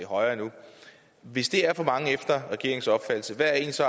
højere endnu hvis det er for mange efter regeringens opfattelse hvad er så